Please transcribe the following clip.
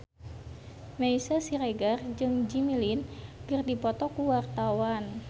Meisya Siregar jeung Jimmy Lin keur dipoto ku wartawan